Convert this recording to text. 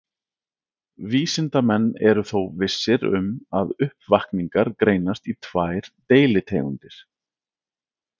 Vísindamenn eru þó vissir um að uppvakningar greinast í tvær deilitegundir.